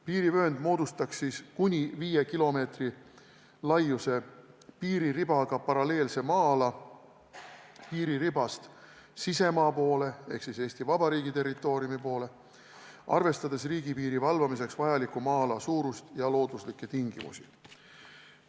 Piirivöönd moodustaks kuni viie kilomeetri laiuse piiriribaga paralleelse maa-ala piiriribast sisemaa poole ehk siis Eesti Vabariigi territooriumi poole, arvestades riigipiiri valvamiseks vajaliku maa-ala suurust ja looduslikke tingimusi.